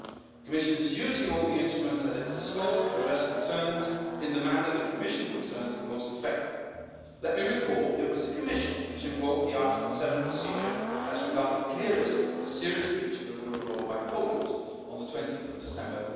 The Commission is using all the instruments at its disposal to address concerns, in the manner the Commission considers most effective. Let me remind you it was the Commission which invoked the Article 7 procedure as regards a clear risk of a serious breach of the rule of law by Poland on 20 December